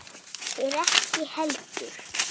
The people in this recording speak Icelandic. Þeir ekki heldur.